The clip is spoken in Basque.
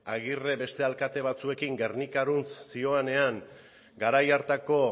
agirre beste alkate batzuekin gernikarantz zihoanean garai hartako